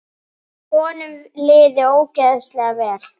Honum liði ósköp vel.